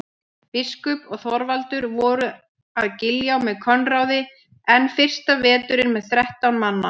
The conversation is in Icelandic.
Biskup og Þorvaldur voru að Giljá með Koðráni enn fyrsta vetur með þrettánda mann.